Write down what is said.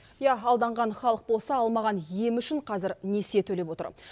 иә алданған халық болса алмаған емі үшін қазір несие төлеп отыр